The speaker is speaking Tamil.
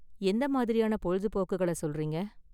எந்த மாதிரியான பொழுதுபோக்குகள சொல்றீங்க?